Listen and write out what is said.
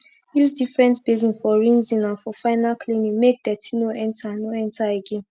use different basin for rinsing and for final cleaning make dirty no enter no enter again